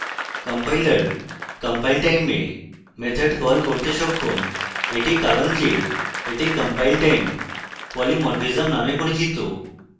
compiler compiletime method call করতে সক্ষম এটি কারণ যে এটি compile time polymorphism নামে পরিচিত